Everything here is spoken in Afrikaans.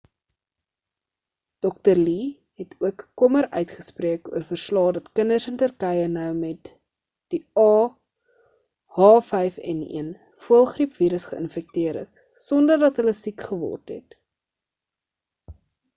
dr. lee het ook kommer uitgespreek oor verslae dat kinders in turkye nou met die ah5n1 voëlgriep virus geïnfekteer is sonder dat hulle siek geword het